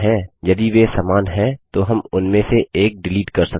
यदि वे समान हैं तो हम उनमें से एक डिलीट कर सकते हैं